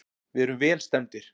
Við erum vel stemmdir.